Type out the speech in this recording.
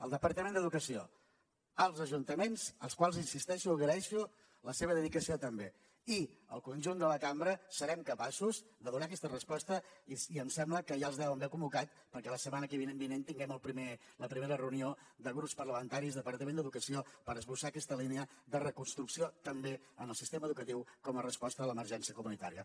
el departament d’educació els ajuntaments als quals hi insisteixo agraeixo la seva dedicació també i el conjunt de la cambra serem capaços de donar aquesta resposta i em sembla que ja els deuen haver convocat perquè la setmana vinent tinguem la primera reunió de grups parlamentaris i departament d’educació per esbossar aquesta línia de reconstrucció també en el sistema educatiu com a resposta a l’emergència comunitària